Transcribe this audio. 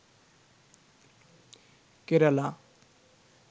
Kerala